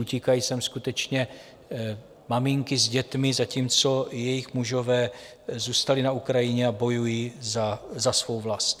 Utíkají sem skutečně maminky s dětmi, zatímco jejich mužové zůstali na Ukrajině a bojují za svou vlast.